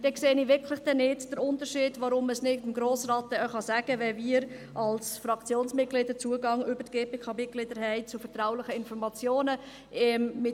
Dann sehe ich den Unterschied wirklich nicht, weshalb man es dann nicht dem Grossen Rat sagen kann, wenn wir als Fraktionsmitglieder über die GPK-Mitglieder Zugang zu vertraulichen Informationen haben.